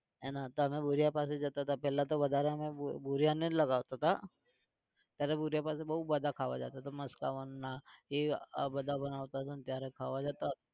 એના તને ભુરીયા પાસે જતા હતા પહેલા તો વધારે અમે ભૂરિયાને જ લગાવતા હતા. ત્યારે ભુરીયા પાસે બોવ બધા ખાવા જતા હતા મસ્કાબન અને આ એ બધા બનાવતા ત્યારે ખાવા જતા.